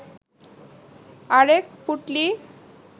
আরেক পুঁটলি